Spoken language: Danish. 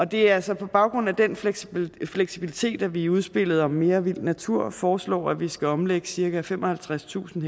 det er altså på baggrund af den fleksibilitet fleksibilitet vi i udspillet om mere vild natur foreslår at vi skal omlægge cirka femoghalvtredstusind